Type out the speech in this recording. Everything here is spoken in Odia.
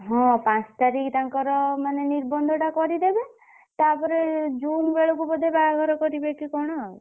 ହଁ ପାଞ୍ଚ ତାରିଖ ତାଙ୍କର ମାନେ ନିର୍ବନ୍ଧଟା କରିଦେବେ ତାପରେ June ବେଳକୁ ବୋଧେ ବାହାଘର କରିବେ କି କଣ।